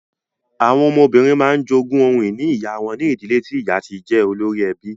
Àwọn ọmọbìnrin máa ń jogún ohun ìní ìyá wọn ní ìdílé tí ìyá ti jẹ́ olórí ẹbí.